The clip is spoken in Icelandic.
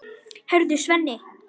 Heyrðu, Svenni!